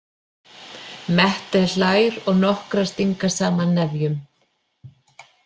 Mette hlær og nokkrar stinga saman nefjum.